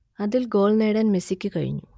അതിൽ ഗോൾ നേടാൻ മെസ്സിക്ക് കഴിഞ്ഞു